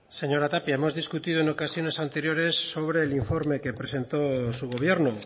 señora tapia hemos discutido en ocasiones anteriores sobre el informe que presentó su gobierno